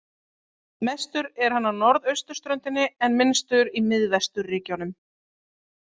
Mestur er hann á norðausturströndinni en minnstur í miðvesturríkjunum.